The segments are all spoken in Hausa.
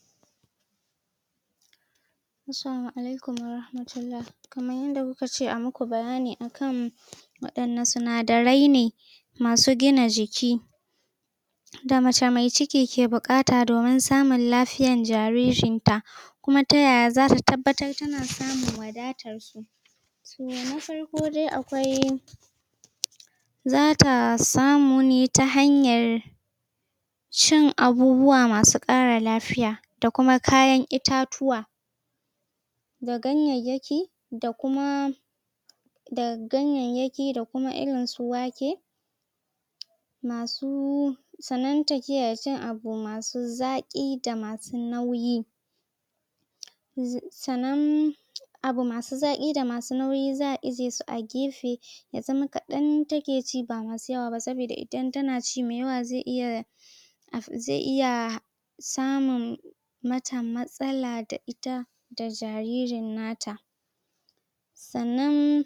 ? Assalamu Alaikum Wa Rahmatullah. Kamar yadda kukace ayi muku bayani akan waɗanna sunadarai ne,? waɗanna sinadaine,? masu gina jiki,? da macce mai ciki ya ke buƙata dumin samun lafiyar jaririnta,? kuma ta yaya zata tabbatar tana samun wadatar s?? Toh, na farko dai akwai,? zata samu ne ta hanyar,? cin abubuwa masu ƙara lafiya, da kuma itatuwa,? da ganyayyaki, da kuma,? daga ganyayyaki da kuma irinsu wake,? masu. sannan ta kiyaye cin abu masu zaƙi da masu nauyi.? Sannan abu masu zaƙi da masu nauyi za'a ajiyu a su gefe,? ya zama kaɗan take ci ba dayawa ba saboda idan tanaci mai yawa zai iya,? zai iya,? samun mata matsala da ita da jaririn nata.? Sannan,?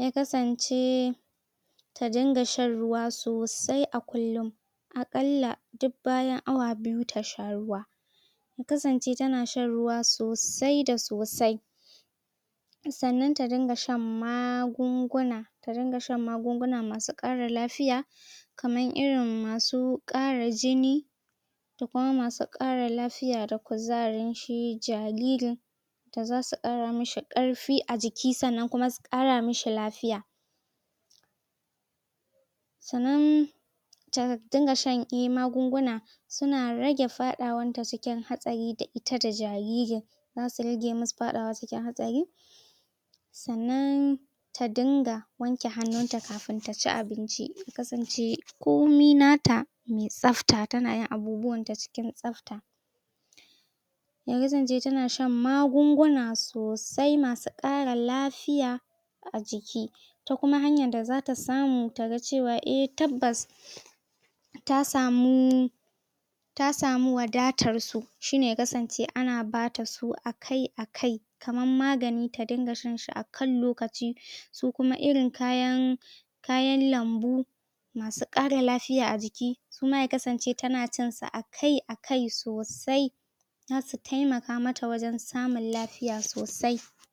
ya kasance,? ta dinga shan ruwa sosai a kullum.? A ƙalla duk bayan awa biyu ta sha ruwa.? Ya kasance tana shan ruwa sosai da sosai.? Sannnan ta dinga shan magunguna.? Ta dinga shan magunguna masu ƙara lafiya.? Kamar irin masu ƙara jini,? Da kuma masu ƙara lafiya da kuzarin shi jaririn,? da za su ƙara mishi ƙarfi a jiki sannan kuma su ƙara mishi lafiya.? Sannan,? ta dinƙa shan magunguna,? suna rage faɗawarta cikin hatsari da ita da jaririn.? Za su rage musu fadawa cikin hatsari da ita da jaririn.? Sannan,? ta dinga wanke hannun ta kafin taci abinci. Ya kasance komai nata mai tsafta, tanayin abubuwanta cikin tsafta.? Ya kasance ta na shan magunguna sosai masu ƙara lafiya,? a jiki.? Ta kuma hanyar da za ta samu taga cewa eh tabbas,? ta samu,? ta samu wadatar su. Shine ya kasance ana bata su akai_akai. Kamar magani tadinga shanshi akan lukaci.? Su kuma irin kayan lambu,? kayan lambu,? masu ƙara lafiya a jiki suma ta kasance ta na cinsu akai_akai sosai.? Za su taimaka mata wajan samun lafiya sosai.